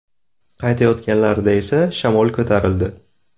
Qaytayotganlarida esa shamol ko‘tarildi.